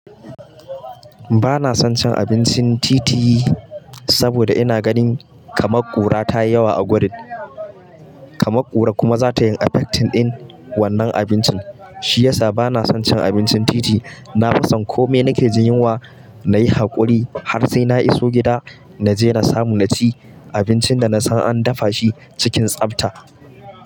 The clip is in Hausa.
Ba na son cin abincin titi yi saboda ina ganin kama ƙura tayi yawa a gurin. Kama ƙura kuma za ta yi effecting ɗin wannan abincin. Shi yasa ba na son cin abincin titi. Na fi son komai nake jin yunwa, na yi haƙuri har sai na iso gida na je na samu naci abincin da na san an dafa shi cikin tsafta.